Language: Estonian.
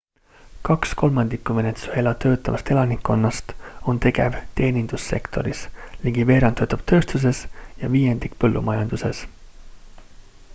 kaks kolmandikku venezuela töötavast elanikkonnast on tegev teenindussektoris ligi veerand töötab tööstuses ja viiendik põllumajanduses